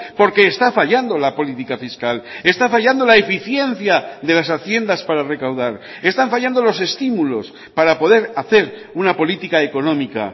porque está fallando la política fiscal está fallando la eficiencia de las haciendas para recaudar están fallando los estímulos para poder hacer una política económica